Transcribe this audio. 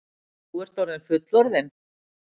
Þú ert orðinn fullorðinn.